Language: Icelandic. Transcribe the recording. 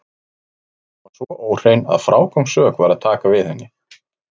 Var hún svo óhrein að frágangssök var að taka við henni.